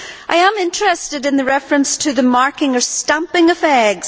I am interested in the reference to the marking or stamping of eggs.